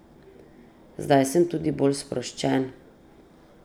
Zdaj sem tudi bolj sproščen.